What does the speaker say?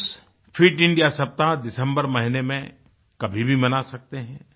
Schools fit India सप्ताह दिसम्बर महीने में कभी भी मना सकते हैं